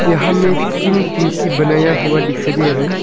यहां में तीन टिंकी बनाया हुआ दिखाई दे रहा है।